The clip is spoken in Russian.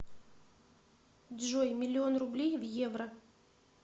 джой миллион рублей в евро